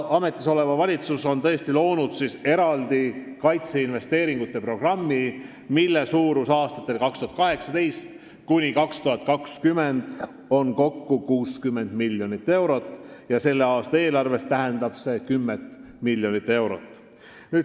Ametisolev valitsus on loonud tõesti eraldi kaitseinvesteeringute programmi, mille suurus aastatel 2018–2020 on kokku 60 miljonit eurot ja selle aasta eelarves tähendab see 10 miljonit eurot.